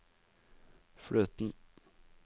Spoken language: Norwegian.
fløten